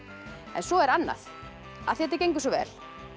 svo er annað af því þetta gengur svo vel